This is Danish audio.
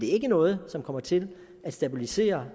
er ikke noget som kommer til at stabilisere